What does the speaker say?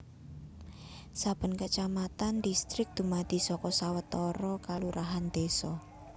Saben kacamatan distrik dumadi saka sawetara kalurahan désa